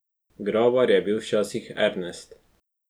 Grabar je bil včasih Ernest.